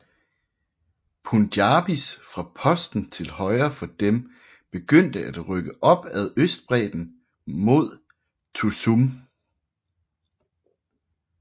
Punjabis fra posten til højre for dem begyndte at rykke op ad østbredden mod Tussum